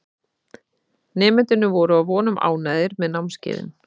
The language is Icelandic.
Nemendurnir voru að vonum ánægðir með námskeiðin.